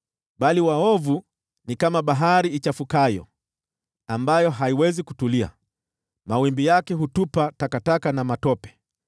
Bali waovu ni kama bahari ichafukayo, ambayo haiwezi kutulia, mawimbi yake hutupa takataka na matope.